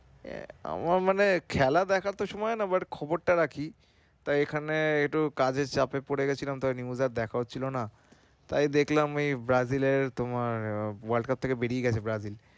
আহ আমার মানে খেলা দেখার তো সময় হয় না but খবর টা রাখি তাই এখানে একটু কাজের চাপে পড়ে গেছিলাম তো news আর দেখা হচ্ছিল না তাই দেখলাম এই Brazil তোমার world cup থেকে বের হয়ে গেছে Brazil ।